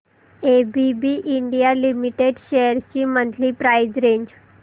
ABB India limited shares ची monthly price range